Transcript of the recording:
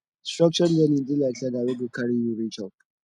structured learning dey like ladder wey go carry you reach up